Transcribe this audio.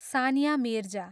Sania Mirza